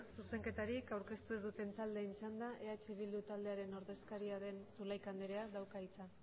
zuzenketarik aurkeztu ez duten taldeen txanda eh bildu taldearen ordezkaria den zulaika andreak dauka hitza